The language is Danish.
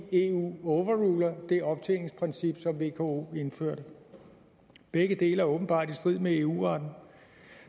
eu overruler det optjeningsprincip som vko indførte begge dele er åbenbart i strid med eu retten